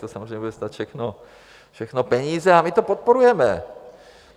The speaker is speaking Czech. To samozřejmě bude stát všechno peníze, a my to podporujeme.